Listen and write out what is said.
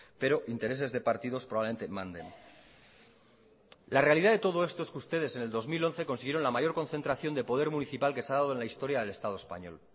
pero intereses de partidos probablemente manden la realidad de todo esto es que ustedes en el dos mil once consiguieron la mayor concentración de poder municipal que se ha dado en la historia del estado español